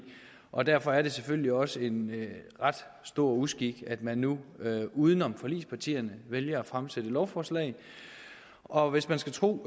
og derfor er det selvfølgelig også en ret stor uskik at man nu uden om forligspartierne vælger at fremsætte dette lovforslag og hvis man skal tro